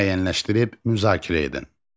Müəyyənləşdirib müzakirə edin.